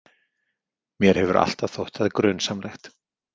Mér hefur alltaf þótt það grunsamlegt.